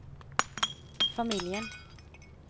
familjen